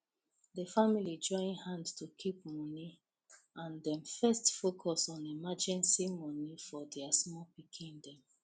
the family join hand to keep money and dem first focus on emergency money for their small pikin dem